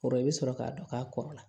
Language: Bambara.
O kɔrɔ i bɛ sɔrɔ k'a dɔn k'a kɔrɔla